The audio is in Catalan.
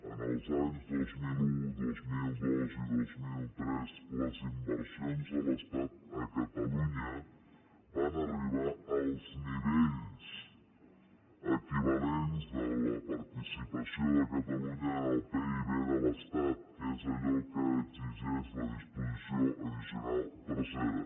en els anys dos mil un dos mil dos i dos mil tres les inversions de l’estat a ca·talunya van arribar als nivells equivalents de la parti·cipació de catalunya en el pib de l’estat que és allò que exigeix la disposició addicional tercera